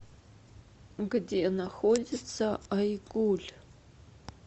где находится айгуль